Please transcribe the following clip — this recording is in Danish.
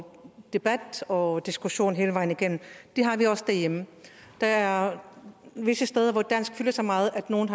debat og diskussion hele vejen igennem det har vi også derhjemme der er visse steder hvor dansk fylder så meget at nogle